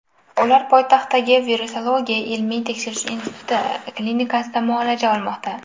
Ular poytaxtdagi Virusologiya ilmiy tekshirish instituti klinikasida muolaja olmoqda.